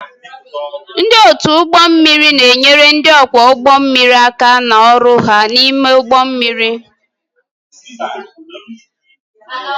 Ndị otu ụgbọ mmiri na-enyere ndị ọkwọ ụgbọ mmiri aka n'ọrụ ha n'ime ụgbọ mmiri